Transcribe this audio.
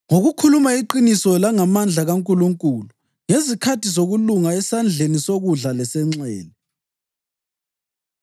ngokukhuluma iqiniso langamandla kaNkulunkulu; ngezikhali zokulunga esandleni sokudla lesenxele;